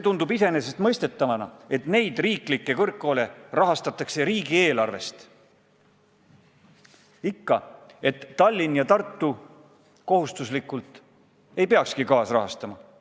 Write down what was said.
Tundub iseenesestmõistetavana, et neid riiklikke kõrgkoole rahastatakse riigieelarvest ning et Tallinn ja Tartu ei peakski neid kohustuslikus korras kaasrahastama.